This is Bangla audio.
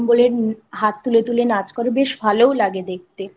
নাম বলে হাত তুলে তুলে নাচ করে বেশ ভালোও লাগে দেখতে।